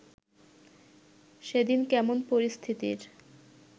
সেদিন কেমন পরিস্থিতির